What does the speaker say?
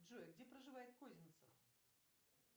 джой где проживает козинцев